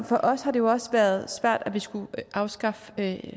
for os har det også været svært at vi skulle afskaffe